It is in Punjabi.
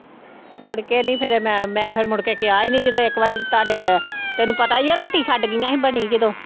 ਮੁੜਕੇ ਨੀ ਫਿਰ ਮੈਂ ਮੈਂ ਫਿਰ ਮੁੜਕੇ ਕਿਹਾ ਹੀ ਨੀ ਜਦੋਂ ਇੱਕ ਵਾਰੀ ਤੁਹਾਡੇ ਤੈਨੂੰ ਪਤਾ ਹੀ ਹੈ ਰੋਟੀ ਛੱਡ ਗਈਆਂ ਸੀ ਬਣੀ ਜਦੋਂ।